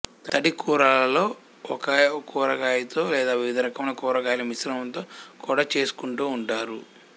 తడికూరలలో ఒకే కూరగాయతో లేదా వివిధ రకముల కూరగాయల మిశ్రమంతో కూడా చేసుకుంటూ ఉంటారు